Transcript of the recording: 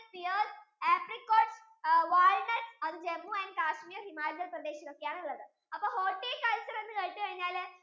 appricote, wallnut അത് JammuandKashmir, HimachalPradesh യിൽ ഒക്കെ ആണ് ഉള്ളത് അപ്പൊ horticulture എന്ന് കേട്ട് കഴിഞ്ഞാൽ